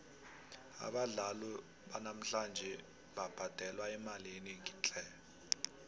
abadlali banamhlanje babhadelwa imali enengi tle